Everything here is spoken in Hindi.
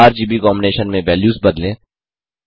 आरजीबी कॉम्बिनेशन में वेल्यूज़ बदलें